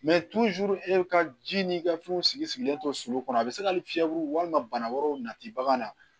e ka ji n'i ka fɛnw sigi sigilen to so kɔnɔ a bɛ se ka ni fiyɛku walima bana wɛrɛw nati bagan na